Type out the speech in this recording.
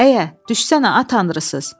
Əə, düşsənə ay qəmbər.